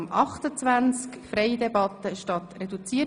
2017–2022 Wasserstrategie